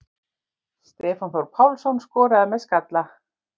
Stefán Þór Pálsson skoraði með skalla.